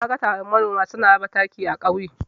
Naga taron manoma suna raba taki a ƙauye.